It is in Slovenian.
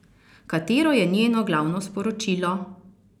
Katero je njeno glavno sporočilo?